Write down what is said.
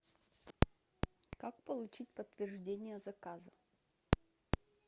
как получить подтверждение заказа